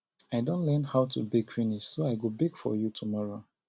i don learn how to bake finish so i go bake for you tomorrow